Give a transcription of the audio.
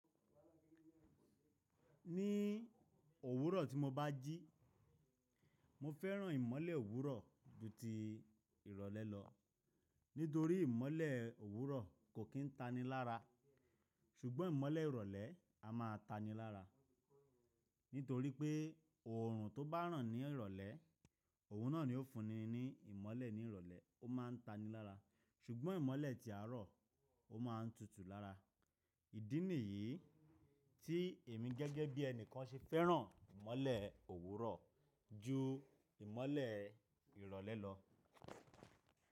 Ní òwúrọ̀ tí mo bá jí, mo fẹ́ràn ìmọ́lẹ̀ òwúrọ̀ ju ti ìrọ̀lẹ́ lọ, nítorí ìmọ́lẹ̀ òwúrọ̀ kò kín tani lára, ṣùgbọ́n ìmọ́lẹ̀ ìrọ̀lẹ́ a máa tani lára. Nítorí pé ọ̀rùn tó bá ràn ní ìrọ̀lẹ́, òun náà ni ó fúnni ní ìmọ́lẹ̀ ní ìrọ̀lẹ́, ó máa ń tani lára, ṣùgbọ́n ìmọ́lẹ̀ ti àárọ̀ ó máa ń tutù lára. Ìdí nìyí tí èmi gẹ́gẹ́ bí ẹni kan ṣe fẹ́ràn ìmọ́lẹ̀ òwúrọ̀ ju ìmọ́lẹ̀ ìrọ̀lẹ́ lọ.